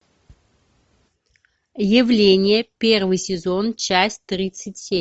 явление первый сезон часть тридцать семь